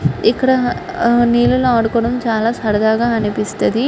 ఇక్కడ నీళ్లలో ఆదుకోవడం చాలా సరదాగా అనిపిస్తది.